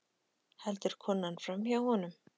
Heldur konan framhjá honum?